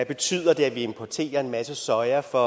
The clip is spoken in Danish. betyder at vi importerer en masse soja for